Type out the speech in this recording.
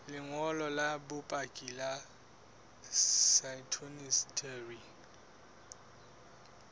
lengolo la bopaki la phytosanitary